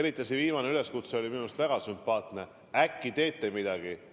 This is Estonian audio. Eriti see viimane üleskutse oli minu arust väga sümpaatne: äkki teete midagi.